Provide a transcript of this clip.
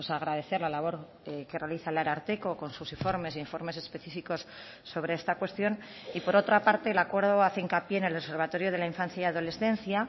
agradecer la labor que realiza el ararteko con sus informes e informes específicos sobre esta cuestión y por otra parte el acuerdo hace hincapié en el observatorio de la infancia y adolescencia